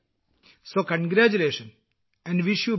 അതിനാൽ അഭിനന്ദനങ്ങൾ നിങ്ങൾക്ക് ആശംസകൾ നേരുന്നു